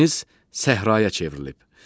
Dəniz səhraya çevrilib.